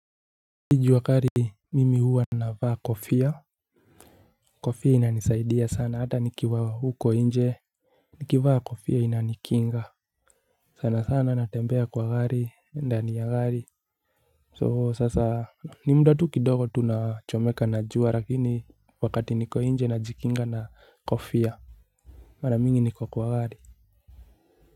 Ni jua kali mimi huwa navaa kofia. Kofia inanisaidia sana hata nikiwa huko nje. Nikivaa kofia inanikinga sana sana natembea kwa gari ndani ya gari So sasa ni muda tu kidogo tunachomeka na jua lakini wakati niko nje najikinga na kofia. Mara mingi niko kwa gari. Kwa hivyo.